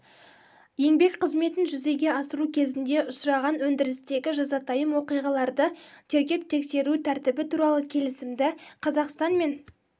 еңбек қызметін жүзеге асыру кезінде ұшыраған өндірістегі жазатайым оқиғаларды тергеп-тексеру тәртібі туралы келісімді қазақстан мен